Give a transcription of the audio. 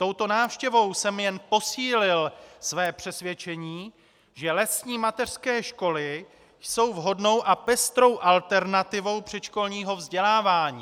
Touto návštěvou jsem jen posílil své přesvědčení, že lesní mateřské školy jsou vhodnou a pestrou alternativou předškolního vzdělávání.